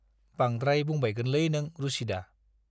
बांद्राय बुंबायगोनलै नों रुसिदा।